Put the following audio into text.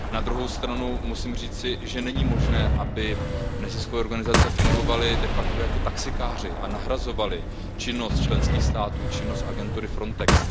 Na druhou stranu musím říci, že není možné, aby neziskové organizace fungovaly de facto jako taxikáři a nahrazovaly činnost členských států, činnost agentury Frontex.